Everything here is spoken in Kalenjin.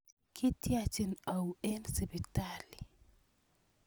Kiityachin auyo eng' sipitali?